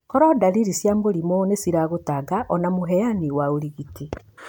Koro ndariri cia mũrimũ nĩ ciragũtanga ona mũheani wa ũrigiti.